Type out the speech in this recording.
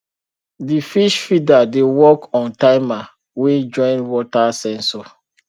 di fish feeder dey work on timer wey join water sensor